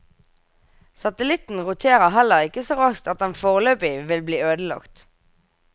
Satellitten roterer heller ikke så raskt at den foreløpig vil bli ødelagt.